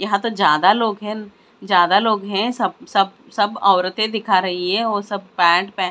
यहां तो ज्यादा लोग हैं ज्यादा लोग हैं सब सब सब औरतें दिखा रही है और सब पैंट प --